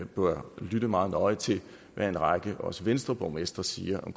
bør lytte meget nøje til hvad en række borgmestre også venstreborgmestre siger om